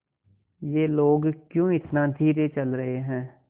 ये लोग क्यों इतना धीरे चल रहे हैं